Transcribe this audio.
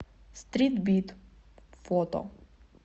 стрит бит фото